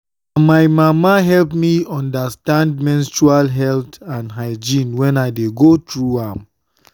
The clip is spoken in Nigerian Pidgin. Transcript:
na my mama help me understand menstrual health and hygiene when i dey go through am.